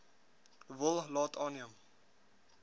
wil laat aanneem